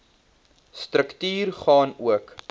struktuur gaan ook